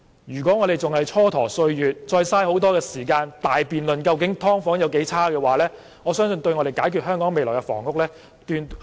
如果我們仍是蹉跎歲月，再浪費時間於辯論"劏房"環境有多惡劣，我相信絕對無助解決香港未來的房屋問題。